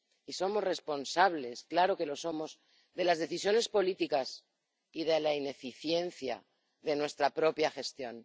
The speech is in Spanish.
y somos responsables, claro que lo somos, de las decisiones políticas y de la ineficiencia de nuestra propia gestión.